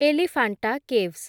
Elephanta caves